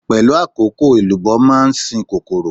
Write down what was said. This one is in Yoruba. Pelu àkókò, èlùbọ̀ máa ń sin kòkòrò.